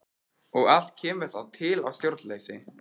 Og allt kemur það til af stjórnleysi.